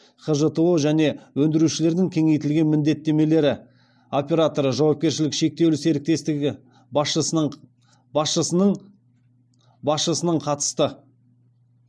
хжто және өндірушілердің кеңейтілген міндеттемелері операторы жауапкершілігі шектеулі серіктестігі басшысының қатысты